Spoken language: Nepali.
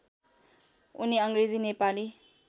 उनी अङ्ग्रेजी नेपाली